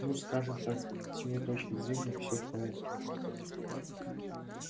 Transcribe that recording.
ну скажем так с его точки зрения всё в порядке